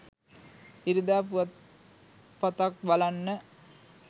ඉරිදා පුවත් පතක්බලන්න